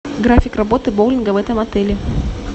график работы боулинга в этом отеле